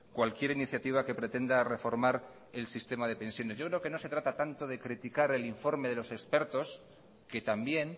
cualquier iniciativa que pretenda reformar el sistema de pensiones yo creo que no se trata tanto de criticar el informe de los expertos que también